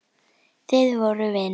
Þið voruð vinir.